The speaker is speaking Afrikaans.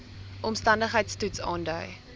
omstandigheids toets aandui